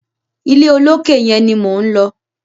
Ilé olókè yẹn ni mò ń lọ.